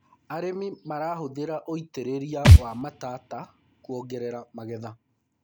arĩmi marahuthira ũitiriria wa matata kuongerera magetha